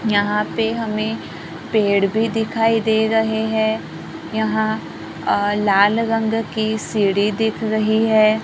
यहां पे हमें पेड़ भी दिखाई दे रहे हैं यहां अ लाल रंग की सीढ़ी दिख रही है।